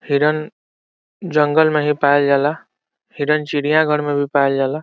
हिरण जंगल में ही पाइल जाइला हिरण चिड़ियाघर में भी पाइल जाइला।